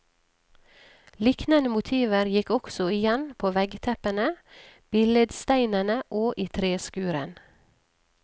Liknende motiver gikk også igjen på veggteppene, billedsteinene og i treskurden.